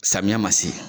Samiya ma se